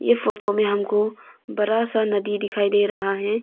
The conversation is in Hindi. ये फोटो में हमको बरा सा नदी दिखाई दे रहा है।